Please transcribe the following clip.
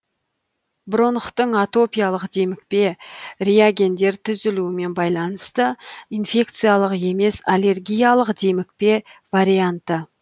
бронхтың атопиялық демікпе реагендер түзілуімен байланысты инфекциялық емес аллергиялық демікпе варианты